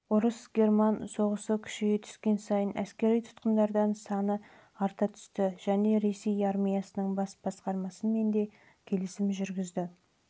орыс-герман соғысы күшейе түскен сайын әскери тұтқындар саны арта түсті және ресей армиясының бас басқармасы ондаған